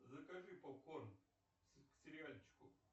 закажи попкорн к сериальчику